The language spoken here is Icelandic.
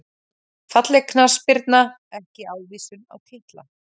Falleg knattspyrna ekki ávísun á titla